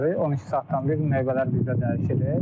12 saatdan bir növbələr bizdə dəyişilir.